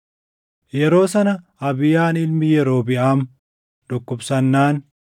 Yeroo sana Abiyaan ilmi Yerobiʼaam dhukkubsannaan